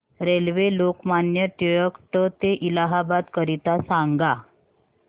railway Lokmanya Tilak ट ते इलाहाबाद करीता सांगा